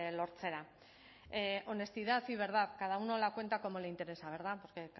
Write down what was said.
lortzera honestidad y verdad cada uno la cuenta como le interesa verdad porque